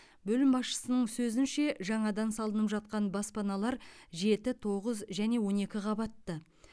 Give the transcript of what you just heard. бөлім басшысының сөзінше жаңадан салынып жатқан баспаналар жеті тоғыз және он екі қабатты